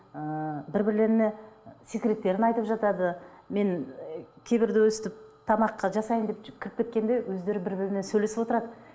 ыыы бір бірлеріне секреттерін айтып жатады мен ы кейбірде өстіп тамақ жасайын деп кіріп кеткенде өздері бір бірімен сөйлесіп отырады